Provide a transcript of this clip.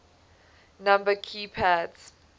number key pads